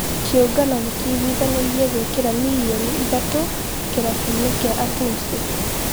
Kĩũngano nĩ kĩiguithanĩirie gũĩkĩra milioni ithatũ kĩrabu-inĩ gĩa a tum is